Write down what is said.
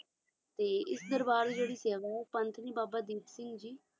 ਸੇਵਾ ਹੈ ਪੰਥਏਨੀ ਬਾਬਾ ਦੀਪ ਸਿੰਘ ਜੀ